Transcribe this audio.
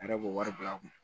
A yɛrɛ b'o wari bila a kun